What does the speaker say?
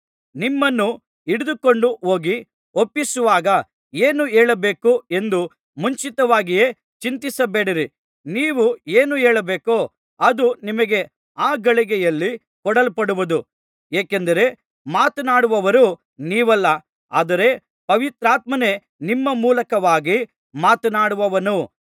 ನಿಮ್ಮನ್ನು ಹಿಡಿದುಕೊಂಡು ಹೋಗಿ ಒಪ್ಪಿಸುವಾಗ ಏನು ಹೇಳಬೇಕು ಎಂದು ಮುಂಚಿತವಾಗಿಯೇ ಚಿಂತಿಸಬೇಡಿರಿ ನೀವು ಏನು ಹೇಳಬೇಕೋ ಅದು ನಿಮಗೆ ಆ ಗಳಿಗೆಯಲ್ಲಿ ಕೊಡಲ್ಪಡುವುದು ಏಕೆಂದರೆ ಮಾತನಾಡುವವರು ನೀವಲ್ಲ ಆದರೆ ಪವಿತ್ರಾತ್ಮನೇ ನಿಮ್ಮ ಮೂಲಕವಾಗಿ ಮಾತನಾಡುವನು